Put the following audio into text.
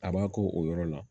A b'a k'o o yɔrɔ la